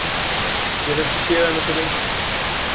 Ég hef ekki séð hana svo lengi.